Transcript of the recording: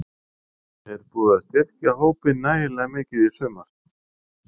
Er búið að styrkja hópinn nægilega mikið í sumar?